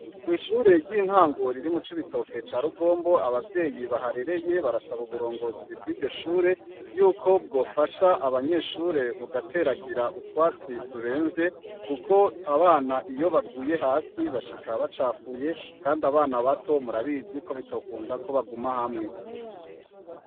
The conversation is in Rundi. Kwishure ryintango riri mucibitoke carugombo abavyeyi baharereye barasaba uburongozi bwiryoshure yuko bwofasha abanyeshure bugateragira utwatsi turemvye kuko abana iyo baguye hasi bashika bacapfuye kandi abana bato murabizi kobitokunda kobaguma hamwe